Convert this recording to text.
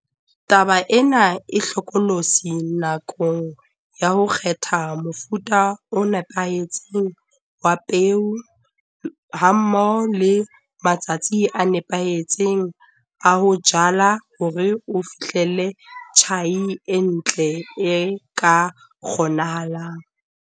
Taba ena e hlokolosi nakong ya ho kgetha mofuta o nepahetseng wa peo hammoho le matsatsi a nepahetseng a ho jala hore o fihlelle tjhai e ntle, e ka kgonahalang.